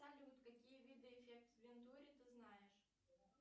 салют какие виды эффект вентури ты знаешь